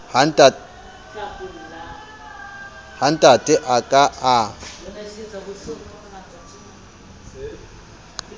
ha ntate a ka a